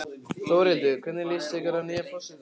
Þórhildur: Hvernig líst ykkur að nýja forsetann okkar?